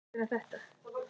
Þögnin er rofin.